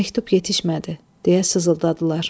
Məktub yetişmədi, deyə sızıldadılar.